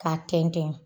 K'a tɛntɛn